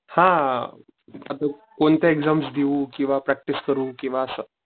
हा आता कोणत्या एक्साम्स देऊ किव्हा प्रॅक्टिस करू किव्हा असं